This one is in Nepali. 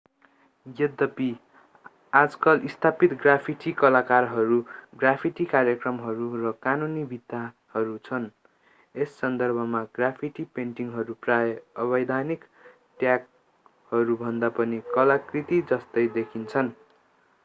यद्यपि आजकल स्थापित ग्राफिटि कलाकारहरू ग्राफिटि कार्यक्रमहरू र कानूनी भित्ताहरू छन् यस सन्दर्भमा ग्राफिटि पेन्टिङहरू प्राय अवैधानिक ट्यागहरूभन्दा पनि कलाकृति जस्तै देखिन्छन्